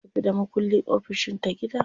Ya tafi da makulli ofishin ta gida.